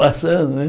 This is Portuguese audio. Passando, né?